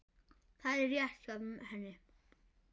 Það er rétt hjá henni.